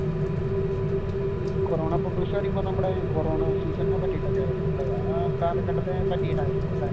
ഈ corona papers എന്ന് പറയുമ്പോൾ നമ്മുടെ കൊറോണ സീസണിനെ പറ്റീട്ടു ഒക്കെ ആയിരിക്കും അല്ലെ ആ കാലഘട്ടത്തെ പറ്റിയിട്ട് ആയിരിക്കും അല്ലെ?